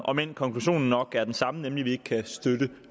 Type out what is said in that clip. omend konklusionen nok er den samme nemlig at vi ikke kan støtte